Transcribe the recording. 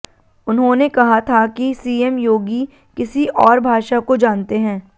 उन्होंने कहा था कि सीएम योगी किसी और भाषा को जानते हैं